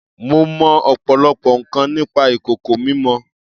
Mo mọ ọ̀pọ̀lọpọ̀ nǹkan nípa ìkòkò mímọ.